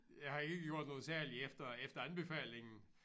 Jeg har ikke gjort noget selv efter efter anbefalingen